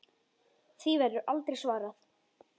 Því verður aldrei svarað.